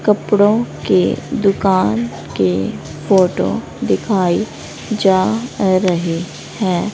कपड़ों के दुकान के फोटो दिखाई जा रहे हैं।